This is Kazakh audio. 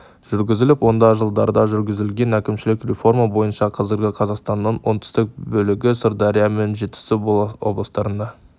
жүргізіліп онда жылдары жүргізілген әкімшілік реформа бойынша қазіргі қазақстанның оңтүстік бөлігі сырдария мен жетісу облыстарына